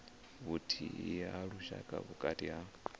vhuthihi ha lushaka vhukati ha